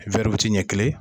wɛri witi ɲɛ kelen.